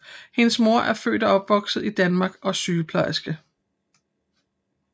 Hendes mor var født og opvokset i Danmark og sygeplejerske